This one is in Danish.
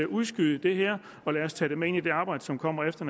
udskyde det her lad os tage det med ind i det arbejde som kommer efter